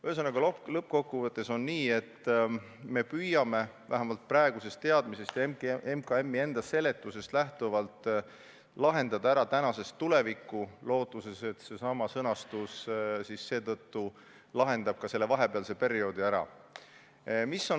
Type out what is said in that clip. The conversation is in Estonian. Ühesõnaga, lõppkokkuvõttes on nii, et me püüame vähemalt praeguse teadmise taustal ja MKM-i seletusest lähtuvalt lahendada ära olukorra tänasest tulevikku lootuses, et seesama sõnastus lahendab ära ka selle vahepealse perioodi.